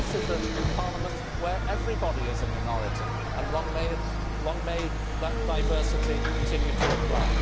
This is a parliament where everybody is a minority, and long may that diversity continue to apply.